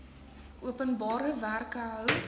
openbare werke hou